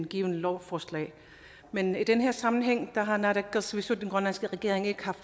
givent lovforslag men i denne sammenhæng har naalakkersuisut den grønlandske regering ikke har